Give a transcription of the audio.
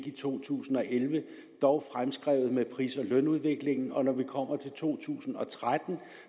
i to tusind og elleve dog fremskrevet med pris og lønudviklingen og når vi kommer til to tusind og tretten